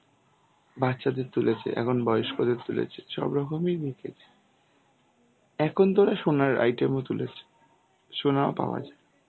বাচ্চাদের তুলেছে, এখন বয়স্কদের তুলেছে. সব রকমই রেখেছে, এখন তোরা সোনার item ও তুলেছে. সোনাও পাওয়া যায়.